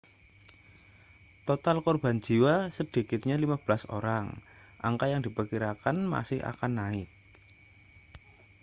total korban jiwa sedikitnya 15 orang angka yang diperkirakan masih akan naik